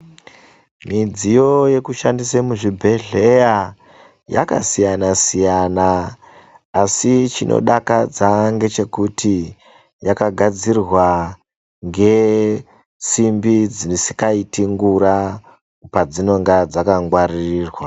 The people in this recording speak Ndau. Midziyo yekushandisa muzvibhedhleya yakasiyana- siyana asi chinodakadza ngechekuti yakagadzirwa ngesimbi dzisingaiti ngura padzinenge dzakangwaririrwa.